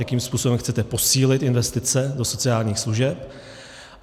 Jakým způsobem chcete posílit investice do sociálních služeb?